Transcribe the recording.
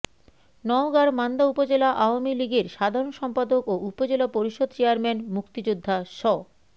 নওগাঁর মান্দা উপজেলা আওয়ামী লীগের সাধারণ সম্পাদক ও উপজেলা পরিষদ চেয়ারম্যান মুক্তিযোদ্ধা স